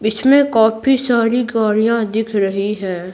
इसमें काफी सारी गाड़ियां दिख रही हैं।